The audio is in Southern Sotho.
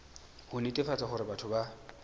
ho netefatsa hore batho ba